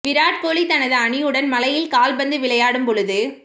விராட் கோலி தனது அணியுடன் மழையில் கால்பந்து விளையாடும் பொழுது